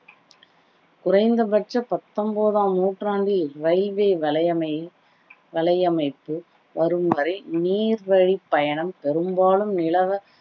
குறைந்த பட்ச பத்தொன்பதாம் நூற்றாண்டில் railway வலையமை~ வலையமைப்பு வரும் வரை நீர் வழி பயணம் பெரும்பாலும் நிலவ